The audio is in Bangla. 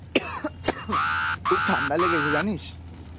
খুব ঠান্ডা লেগেছে জানিস?